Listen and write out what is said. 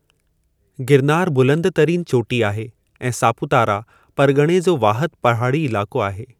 गिरनारु बुलंदतरीनि चोटी आहे ऐं सापुतारा परगि॒णे जो वाहिदु पहाड़ी इलाइक़ो आहे।